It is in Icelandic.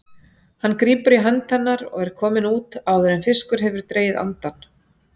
Hann grípur í hönd hennar og er kominn út áður en fiskur hefur dregið andann.